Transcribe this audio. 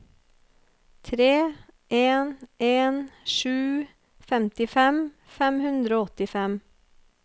tre en en sju femtifem fem hundre og åttifem